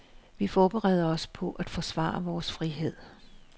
Vi forbereder os på at forsvare vores frihed.